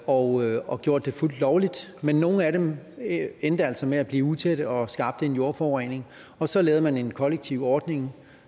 og og gjort det fuldt lovligt men nogle af dem endte altså med at blive utætte og skabte jordforurening og så lavede man en kollektiv ordning